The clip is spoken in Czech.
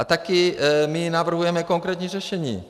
A také my navrhujeme konkrétní řešení.